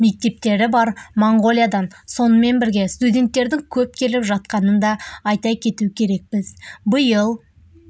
мектептері бар моңғолиядан сонымен бірге студенттердің көп келіп жатқанын да айта кету керек біз биыл